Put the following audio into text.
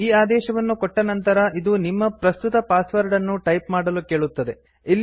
ನೀವು ಈ ಆದೇಶವನ್ನು ಕೊಟ್ಟ ನಂತರ ಇದು ನಿಮ್ಮ ಪ್ರಸ್ತುತ ಪಾಸ್ವರ್ಡ್ ಅನ್ನು ಟೈಪ್ ಮಾಡಲು ಕೇಳುತ್ತದೆ